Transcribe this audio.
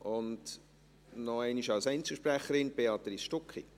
Béatrice Stucki hat nochmals als Einzelsprecherin das Wort.